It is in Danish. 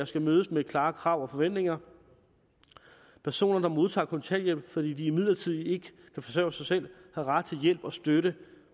skal mødes med klare krav og forventninger personer der modtager kontanthjælp fordi de midlertidigt ikke kan forsørge sig selv har ret til hjælp og støtte